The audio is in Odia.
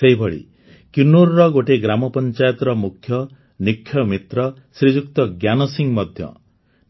ସେହିଭଳି କିନ୍ନୌର୍ର ଗୋଟିଏ ଗ୍ରାମପଞ୍ଚାୟତର ମୁଖ୍ୟ ନିକ୍ଷୟ ମିତ୍ର ଶ୍ରୀଯୁକ୍ତ ଜ୍ଞାନ ସିଂ ମଧ୍ୟ